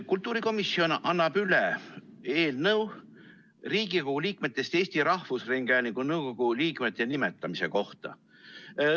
Kultuurikomisjon annab üle eelnõu Riigikogu liikmetest Eesti Rahvusringhäälingu nõukogu liikmete nimetamise kohta.